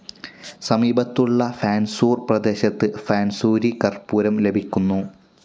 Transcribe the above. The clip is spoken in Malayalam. സമീപത്തുള്ള ഫാൻസൂർ പ്രദേശത്ത് ഫൻസൂരി കർപ്പൂരം ലഭിക്കുന്നു.